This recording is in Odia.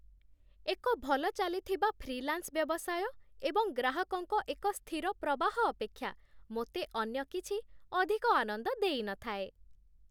ଏକ ଭଲ ଚାଲିଥିବା ଫ୍ରିଲାନ୍ସ ବ୍ୟବସାୟ ଏବଂ ଗ୍ରାହକଙ୍କ ଏକ ସ୍ଥିର ପ୍ରବାହ ଅପେକ୍ଷା ମୋତେ ଅନ୍ୟ କିଛି ଅଧିକ ଆନନ୍ଦ ଦେଇନଥାଏ